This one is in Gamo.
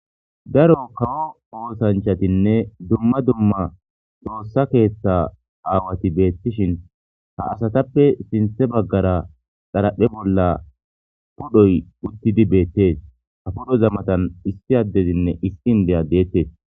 Daro kawo oosanchchattinne dumma dumma xoossa keththa asati bettishin ha asatappe sinththe baggara xaraphphe bolla pudhoy uuttidii betes ha pudhoy matan issi addezinne issi indiya de'etes